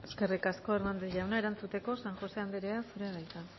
eskerrik asko eskerrik asko hernandez jauna erantzuteko san josé anderea zurea da hitza